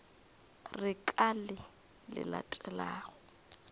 re ka le le latelago